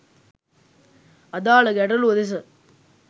අදාළ ගැටළුව දෙස